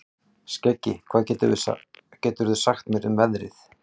Skeggi, hvað geturðu sagt mér um veðrið?